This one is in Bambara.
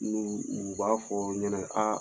N'olu, u b'a fɔ o ɲɛnɛ ko aa